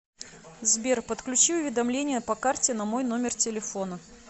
сбер подключи уведомления по карте на мой номер телефона